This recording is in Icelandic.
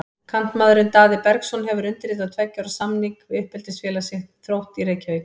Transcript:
Kantmaðurinn Daði Bergsson hefur undirritað tveggja ára samning við uppeldisfélag sitt, Þrótt í Reykjavík.